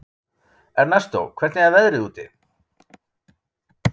Ernestó, hvernig er veðrið úti?